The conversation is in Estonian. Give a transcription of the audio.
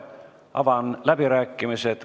Avan läbirääkimised.